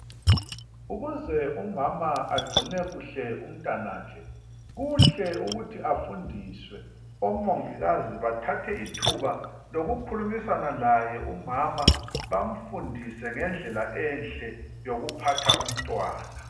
Ukuze umama agcine kuhle umntanakhe, kuhle ukuthi afundiswe. Omongikazi bathathe ithuba lokukhulumisana laye umama bamfundise ngendlela enhle yokuphatha umntwana.